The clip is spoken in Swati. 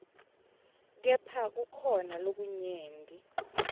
kepha kukhona lokunyenti